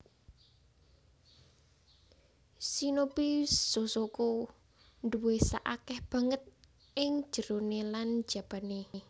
Shinobi shozoko duwé sak akèh banget ing jeroné lan jabané